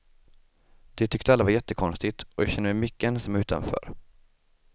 Det tyckte alla var jättekonstigt och jag kände mig mycket ensam och utanför.